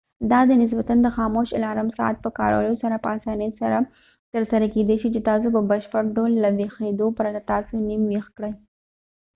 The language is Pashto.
دا د نسبتاََ د خاموش الارم ساعت په کارولو سره په اسانۍ سره ترسره کیدې شي چې تاسو په بشپړ ډول له ویښيدو پرته تاسو نيم ويښ کړي